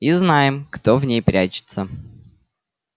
и знаем кто в ней прячется